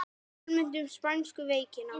Almennt um spænsku veikina